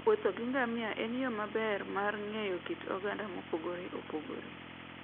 Wuotho gi ngamia en yo maber mar ng'eyo kit oganda mopogore opogore.